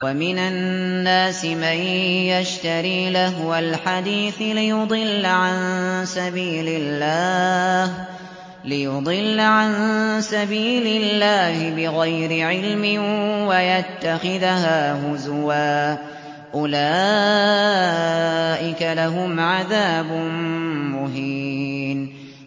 وَمِنَ النَّاسِ مَن يَشْتَرِي لَهْوَ الْحَدِيثِ لِيُضِلَّ عَن سَبِيلِ اللَّهِ بِغَيْرِ عِلْمٍ وَيَتَّخِذَهَا هُزُوًا ۚ أُولَٰئِكَ لَهُمْ عَذَابٌ مُّهِينٌ